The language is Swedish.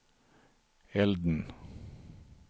elden